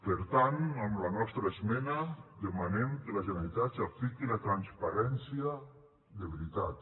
per tant amb la nostra esmena demanem que la generalitat s’apliqui la transparència de veritat